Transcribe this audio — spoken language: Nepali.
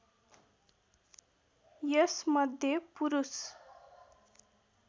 यस मध्य पुरूष